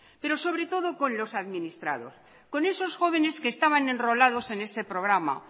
pero sobre todo con los administrados con esos jóvenes que estaban enrolados en ese programa